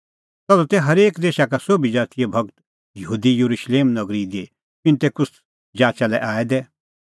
तधू तै हरेक देशा का सोभी ज़ातीए भगत यहूदी येरुशलेम नगरी दी पिन्तेकुस्त जाचा लै आऐ दै